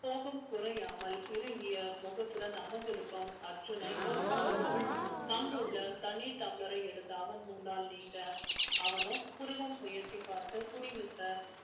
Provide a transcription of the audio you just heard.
கோபம் குறையாமல் இறுகிய முகத்துடன் அமர்ந்திருக்கும் அர்ஜுனை பார்த்து சிரித்தவள் அங்குள்ள தண்ணி tumbler ஐ எடுத்து அவன் முன்னால் நீட்ட அவனோ புருவம் உயர்த்தி பார்க்க குடிங்க sir